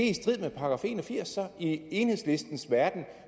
i strid med § en og firs i enhedslistens verden